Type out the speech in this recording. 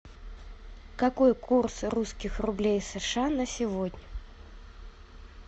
какой курс русских рублей сша на сегодня